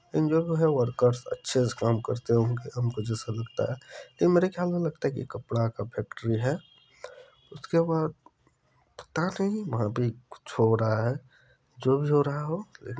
ये जो है वर्कर्स अच्छे से काम करते होंगे हमको जैसा लगता है ये मेरे खयाल मे रखता है ये कपड़ा का फैक्ट्री है उसके बाद पता नहीं कुछ हो रहा है जो भी हो रहा हो।